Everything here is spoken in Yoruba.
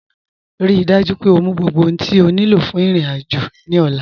Ríí dájú pé ọ mú gbogbo ohun tí o ní lọ fún irin-ájò ní ọ̀là